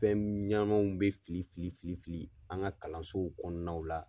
Fɛn ɲanamanw bɛ fili fili fili fili an ka kalansow kɔnɔnaw la.